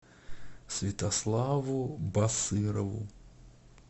святославу басырову